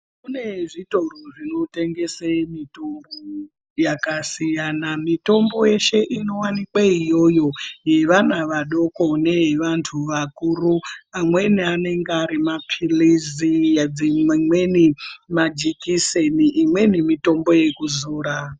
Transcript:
Kune zvitoro zvinotengese mitombo yakasiyana, mitombo yeshe inovanikwe iyoyo yevana vadoko neye vantu vakuru amweni anenge ari maphirizi, dzimweni majekiseni, imweni mitombo yekuzora.